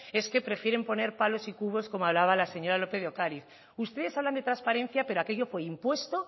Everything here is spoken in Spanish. es que prefieren poner palos y cubos como hablaba la señora lópez de ocariz ustedes hablan de transparencia pero aquello fue impuesto